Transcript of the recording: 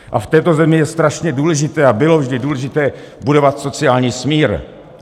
A v této zemi je strašně důležité a bylo vždy důležité budovat sociální smír.